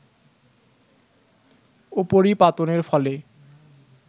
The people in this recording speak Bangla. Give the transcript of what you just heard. উপরিপাতনের ফলে